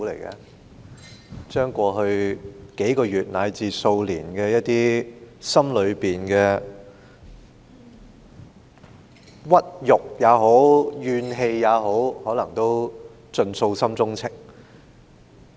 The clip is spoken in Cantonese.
他把過去數個月至數年之間，心中的屈辱或怨氣傾吐，可能是想盡訴心中情。